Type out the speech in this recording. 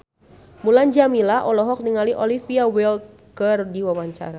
Mulan Jameela olohok ningali Olivia Wilde keur diwawancara